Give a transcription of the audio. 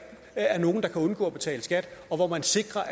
er nogen der kan undgå at betale skat og hvor man sikrer